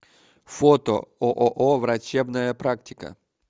фото ооо врачебная практика